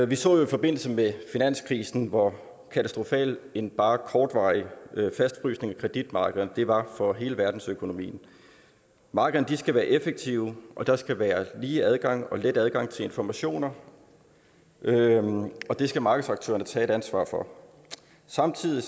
vi så jo i forbindelse med finanskrisen hvor katastrofal en bare kortvarig fastfrysning af kreditmarkederne var for hele verdensøkonomien markederne skal være effektive og der skal være lige adgang og let adgang til informationer og det skal markedsaktørerne tage et ansvar for samtidig